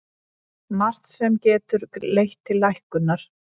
Margt sem getur leitt til lækkunar